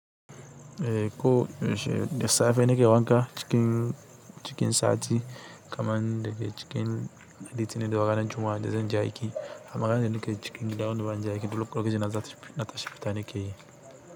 Eh ko da safe ne ke wanka cikin, cikin sati kamar daga cikin litinin da ranan Juma'a da zan je aiki amma ranan da nake cikin gida wanda ban je aiki, dole ko da ya na za ta, na tashi fitan ne ke yi.